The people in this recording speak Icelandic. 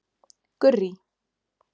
Gurrý